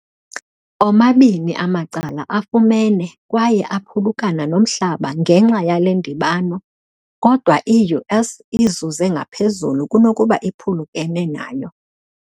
Omabini amacala afumene kwaye aphulukana nomhlaba ngenxa yale ndibano, kodwa i-US izuze ngaphezulu kunokuba iphulukene nayo.